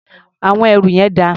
Àwọn ẹrù yẹn dà?